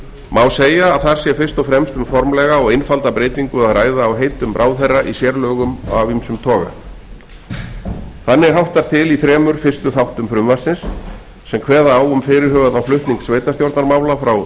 má segja að þar sé fyrst og fremst um formlega og einfalda breytingu að ræða á heitum ráðherra í sérlögum af ýmsum toga þannig háttar til í þremur fyrstu þáttum frumvarpsins sem kveða á um fyrirhugaðan flutning sveitarstjórnarmála frá